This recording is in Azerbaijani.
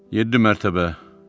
Yeddi mərtəbə.